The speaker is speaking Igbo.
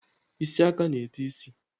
Isi aka na-eto isi.